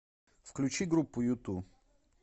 включи группу юту